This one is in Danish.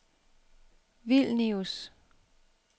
Vilnius